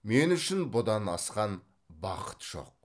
мен үшін бұдан асқан бақыт жоқ